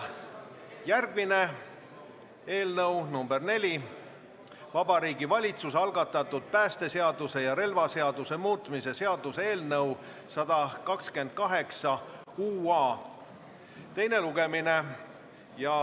Järgmine, neljas päevakorrapunkt on Vabariigi Valitsuse algatatud päästeseaduse ja relvaseaduse muutmise seaduse eelnõu 128 teine lugemine.